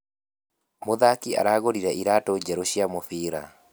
Mũthaki aragũrire iratũ njerũ cia mũbira